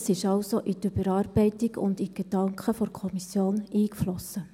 Es ist also in die Überarbeitung und in die Gedanken der Kommission eingeflossen.